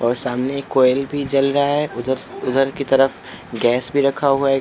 और सामने एक कोयल भी जल रहा है उधर उधर की तरफ गैस भी रखा हुआ है एक--